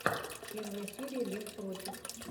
первая серия лев против